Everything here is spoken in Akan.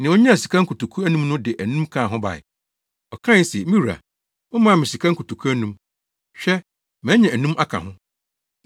Nea onyaa sika nkotoku anum no de anum kaa ho bae. Ɔkae se, ‘Me wura, womaa me sika nkotoku anum. Hwɛ, manya anum aka ho.’